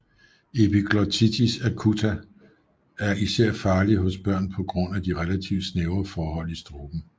Epiglottitis acuta er især farlig hos børn på grund af de relativt snævre forhold i struben